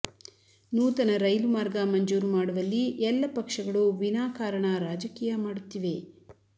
ನೂತನ ರೈಲು ಮಾರ್ಗ ಮಂಜೂರು ಮಾಡುವಲ್ಲಿ ಎಲ್ಲ ಪಕ್ಷಗಳು ವಿನಾಕಾರಣ ರಾಜಕೀಯ ಮಾಡುತ್ತಿವೆ